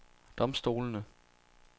domstolene